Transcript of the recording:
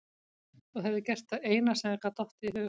Þú hefðir gert það eina sem þér gat dottið í hug.